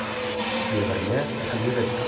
Ég verð með ef ég vil það.